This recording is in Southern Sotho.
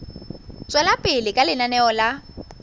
tswela pele ka lenaneo la